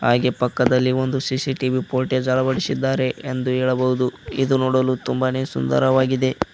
ಹಾಗೆ ಪಕ್ಕದಲ್ಲಿ ಒಂದು ಸಿ_ಸಿ_ಟಿ_ವಿ ಪೋರ್ಟೇಜ್ ಅಳವಡಿಸಿದ್ದಾರೆ ಎಂದು ಹೇಳಬಹುದು ಇದು ನೋಡಲು ತುಂಬಾನೇ ಸುಂದರವಾಗಿದೆ.